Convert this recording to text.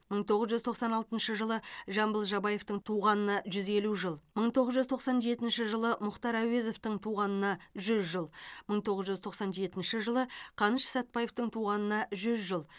мың тоғыз жүз тоқсан алтыншы жылы жамбыл жабаевтың туғанына жүз елу жыл мың тоғыз жүз тоқсан жетінші жылы мұхтар әуезовтің туғанына жүз жыл мың тоғыз жүз тоқсан жетінші жылы қаныш сәтбаевтың туғанына жүз жыл